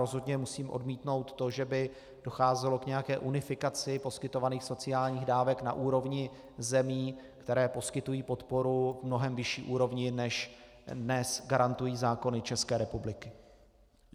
Rozhodně musím odmítnout to, že by docházelo k nějaké unifikaci poskytovaných sociálních dávek na úrovni zemí, které poskytují podporu na mnohem vyšší úrovni, než dnes garantují zákony České republiky.